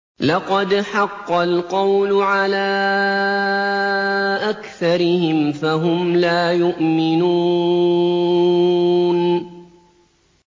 لَقَدْ حَقَّ الْقَوْلُ عَلَىٰ أَكْثَرِهِمْ فَهُمْ لَا يُؤْمِنُونَ